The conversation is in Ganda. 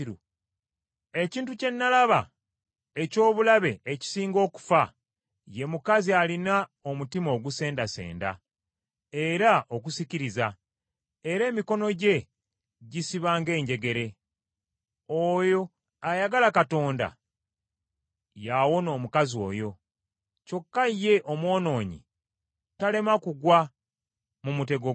Ekintu kye nalaba eky’obulabe ekisinga okufa, ye mukazi alina omutima ogusendasenda, era ogusikiriza, era emikono gye gisiba ng’enjegere. Oyo ayagala Katonda, y’awona omukazi oyo, kyokka ye omwonoonyi talema kugwa mu mutego gwe.